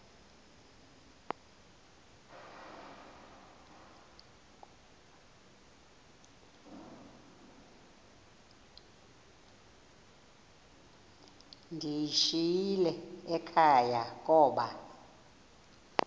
ndiyishiyile ekhaya koba